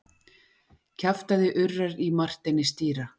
Kjaftæði urrar í Marteini stýra.